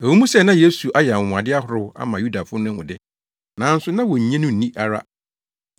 Ɛwɔ mu sɛ na Yesu ayɛ anwonwade ahorow ama Yudafo no ahu de, nanso na wonnye no nni ara.